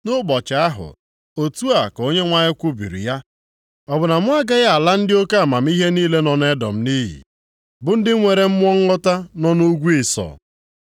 “Nʼụbọchị ahụ,” otu a ka Onyenwe anyị kwubiri ya, “ọ bụ na mụ agaghị ala ndị oke amamihe niile nọ nʼEdọm nʼiyi, bụ ndị nwere mmụọ nghọta nọ nʼugwu Ịsọ?